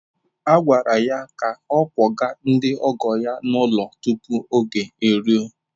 A gwara ya ka ọ kwọga ndị ọgọ ya n’ụlọ tupu oge eruo!